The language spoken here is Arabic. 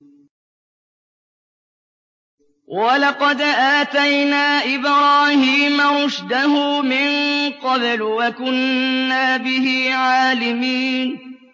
۞ وَلَقَدْ آتَيْنَا إِبْرَاهِيمَ رُشْدَهُ مِن قَبْلُ وَكُنَّا بِهِ عَالِمِينَ